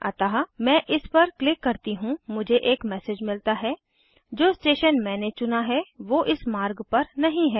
अतः मैं इस पर क्लिक करती हूँ मुझे एक मैसेज मिलता है जो स्टेशन मैंने चुना है वो इस मार्ग पर नहीं है